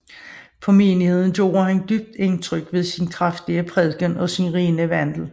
På menigheden gjorde han dybt indtryk ved sin kraftige prædiken og sin rene vandel